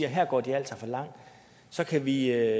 at her går de altså for langt så kan vi